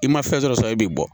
I ma fɛn dɔ sɔrɔ e bi bɔ